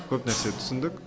көп нәрсе түсіндік